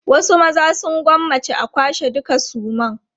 Wasu maza sun gwammaci a kwashe dukan sunan.